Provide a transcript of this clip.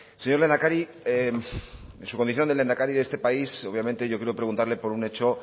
señor lehendakari en su condición de lehendakari de este país obviamente yo quiero preguntarle por un hecho